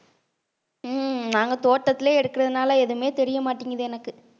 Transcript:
உம் நாங்க தோட்டத்திலேயே எடுக்கறதுனால எதுவுமே தெரிய மாட்டேங்குது எனக்கு